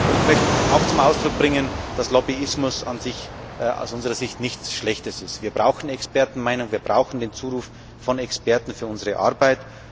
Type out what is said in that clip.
Ich möchte auch zum Ausdruck bringen, dass Lobbyismus an sich aus unserer Sicht nichts Schlechtes ist. Wir brauchen Expertenmeinungen, wir brauchen den Zuruf von Experten für unsere Arbeit.